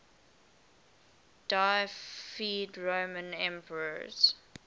deified roman emperors